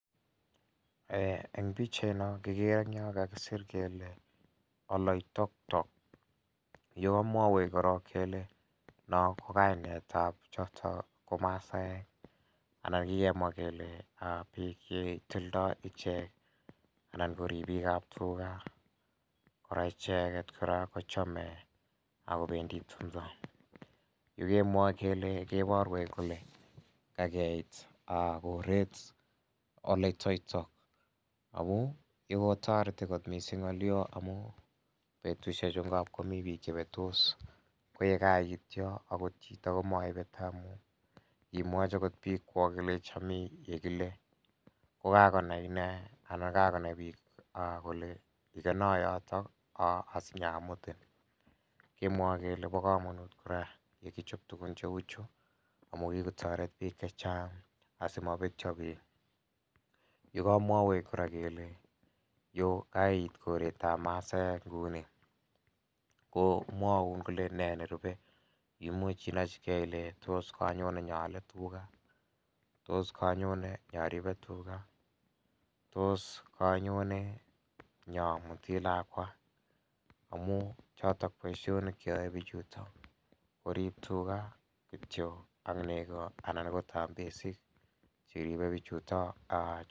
Eng' pikchaino kikere eng' yo kakisir kele oloitoktok yu komwowech korok kele no ko kainetab choto ko masaek anan kikemwa kele biik chetindoi ichek anan ko ribikab tuga kora icheget kora kochomei akobendi tumdo yu kemwoe kele keborwech kele kakeit koret oloitoktok ako yu kotoreti mising' ng'olio amu betushe chu ngapkomi biik chebetos ko ye kaiit yo akot chito komaibete amu imwochi agot biikwok ilechi ami yekile kokanai ine anan kakonai biik kole ikeno yotok asinyamutin kemwoei kele bo komonut kora yekichop tugun che uu chu amu kikotoret biik chechang' asimabetyo biik yu kamwowech kora kole yu kaiit koretab masaek nguni komwoun kole nee nerubei imuch inochigei Ile tos kanyone nyoole tuga tos kanyone nyaribe tuga tos kanyone nyamuti lakwa amu choto boishonik Che yoei bichuto korip tuga kityo ak nego anan ko tambesik cheribei bichutok